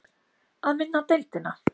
Að vinna deildina?